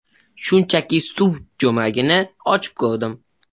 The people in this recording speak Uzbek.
Shunchaki suv jo‘mragini ochib ko‘rdim.